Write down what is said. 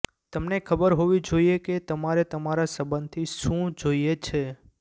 તમને ખબર હોવી જોઈએ કે તમારે તમારા સંબંધથી શું જોઈએ છે